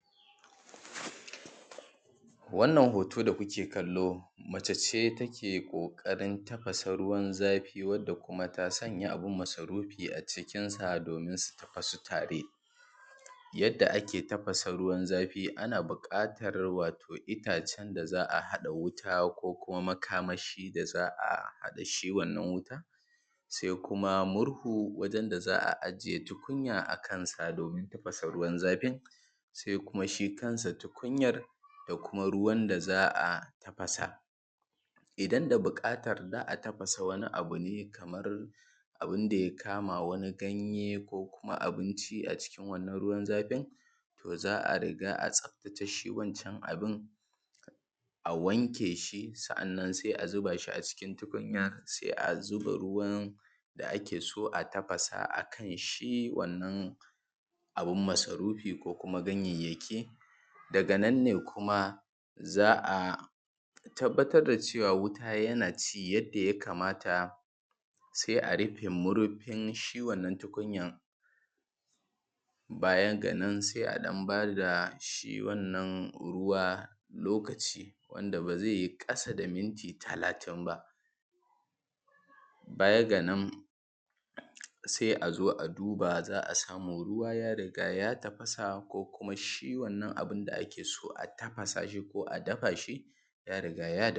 wannan hoto da ku ke kallo mace ce take ƙoƙarin tafasa ruwan zafi wanda kuma ta sanya abun masarufi a cikinsa domin su tafasu tare yadda ake tafasa ruwan zafi ana buƙatar wato itacen da za a haɗa wuta ko kuma makamashi da za a haɗa shi wannan wutan sai kuma murhu wajen da za a aje tukunya a kansa domin tafasa ruwan zafin sai kuma shi kansa tukunyan da kuma ruwan da za a tafasa idan da buƙatar za a tafasa wani abu ne kamar abun da ya kama wani ganye ko kuma abinci a cikin wannan ruwan zafin to za a riga a tsaftace shi wancan abun a wanke shi sa’annan sai a zuba shi a cikin tukunya sai a zuba ruwan da ake so a tafasa a kan shi wannan abun masarufi ko kuma ganyayyaki daga nan ne kuma za a tabbatar da cewa wuta yana ci yadda ya kamata sai a rufe marfin shi wannan tukunya baya ga nan sai a ɗan ba da shi wannan ruwa lokaci wanda ba zai yi ƙasa da minti talatin ba baya ga nan sai a zo a duba za a samu ruwa ya riga ya tafasa ko kuma shi wannan abuƙn da ake so a tafasa shi ko a dafa shi ya riga ya dafu